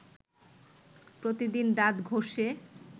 প্রতিদিন দাঁত ঘষে